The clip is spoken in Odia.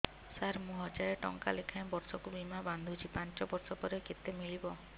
ସାର ମୁଁ ହଜାରେ ଟଂକା ଲେଖାଏଁ ବର୍ଷକୁ ବୀମା ବାଂଧୁଛି ପାଞ୍ଚ ବର୍ଷ ପରେ କେତେ ମିଳିବ